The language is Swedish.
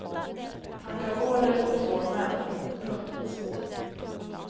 Han gav order åt två män. punkt